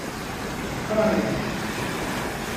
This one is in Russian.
фане